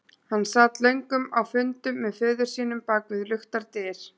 Hann sat löngum á fundum með föður sínum bak við luktar dyr.